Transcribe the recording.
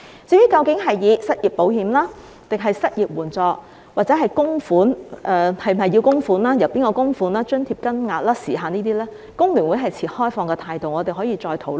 至於這應名為失業保險或失業援助，應否供款、由誰供款、津貼金額、時限等，工聯會持開放態度，我們可以再討論。